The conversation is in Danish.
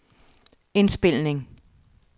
indspilning